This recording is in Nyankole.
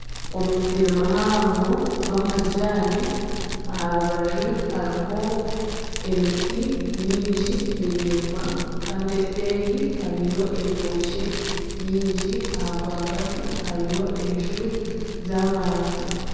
Omusiri muhango gw'amajaani aharubaju hariho emiti mingi miraingwa Kandi enseeri hariyo entookye nyingi aha rwagati hariyo enju z'abantu .